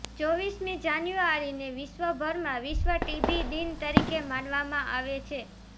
ચોવીસમી જાન્યુઆરીને વિશ્વભરમાં વિશ્વ ટીબી દિન તરીકે મનાવવામાં આવે છે